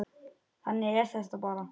Þannig er þetta bara.